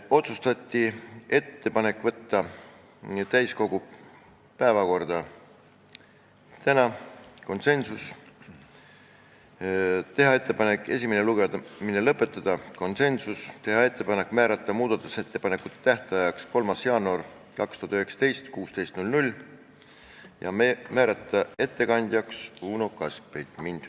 Otsustati teha ettepanek võtta eelnõu täiskogu päevakorda tänaseks , teha ettepanek esimene lugemine lõpetada , teha ettepanek määrata muudatusettepanekute tähtajaks 3. jaanuar 2019 kell 16 ja määrata ettekandjaks Uno Kaskpeit.